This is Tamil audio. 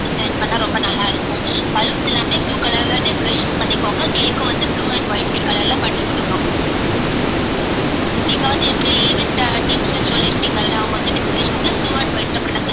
வந்து select பண்ணா ரொம்ப நல்லாருக்கும் baloons எல்லாமே blue colour ல decorate பண்ணிகோங்க cake உம் வந்து blue and white colour ல பண்ணிகுடுக்குறோம் நீங்க வந்து event team கிட்ட சொல்லிர்கிங்கள்ள அவங்க வந்து decoration blue and white ல பண்ண